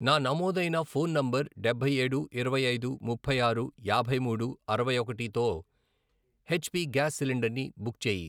నా నమోదైన ఫోన్ నంబర్ డబ్బై ఏడు, ఇరవై ఐదు, ముప్పై ఆరు, యాభై మూడు, అరవై ఒకటి, తో ఎచ్ పి గ్యాస్ సిలిండర్ని బుక్ చేయి.